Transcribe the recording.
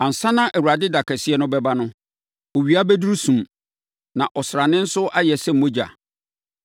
Ansa na Awurade da kɛseɛ no bɛba no, owia bɛduru sum na ɔsrane nso ayɛ sɛ mogya.